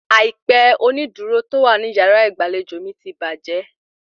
Àìpẹ onídùúró tó wà ní yàrá ìgbàlejò mi ti bàjẹ́